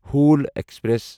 Howrah express